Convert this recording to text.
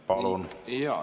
Palun!